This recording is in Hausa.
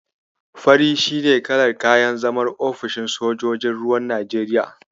Fari shi ne kalar kayan zaman ofishinn sojojin ruwan Najeriya.